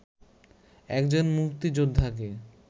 একজন মুক্তিযোদ্ধাকে